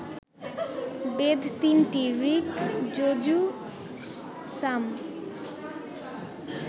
বেদ তিনটি-ঋক্, যজুঃ, সাম